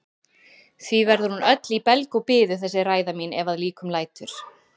Því verður hún öll í belg og biðu þessi ræða mín ef að líkum lætur.